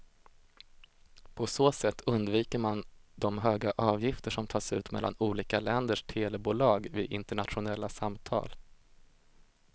På så sätt undviker man de höga avgifter som tas ut mellan olika länders telebolag vid internationella samtal.